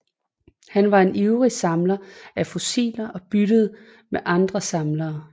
Han var en ivrig samler af fossiler og byttede med andre samlere